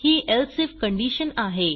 he else if condition आहे